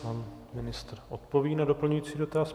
Pan ministr odpoví na doplňující dotaz.